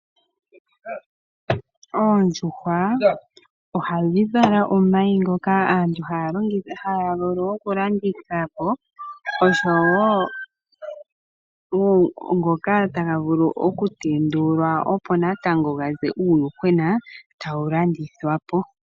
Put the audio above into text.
Oondjukwa ohadhi vala omayi ngoka aantu haya vulu okulandithapo oshowo ngoka taga vulu okutendulwa opo natango ga ze uuyuhwena e ta wu landithwapo.